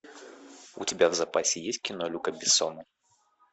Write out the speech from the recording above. у тебя в запасе есть кино люка бессона